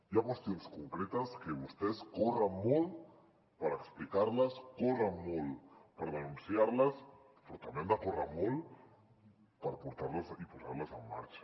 hi ha qüestions concretes que vostès corren molt per explicar les corren molt per denunciar les però també han de córrer molt per portar les i posar les en marxa